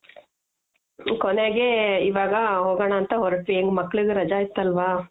ಕೊನೆಗೆ ಇವಾಗ ಹೋಗಣ ಅಂತ ಹೊರಟ್ವಿ, ಹೆಂಗು ಮಕ್ಳಿಗು ರಜ ಇತ್ತು ಅಲ್ವಾ .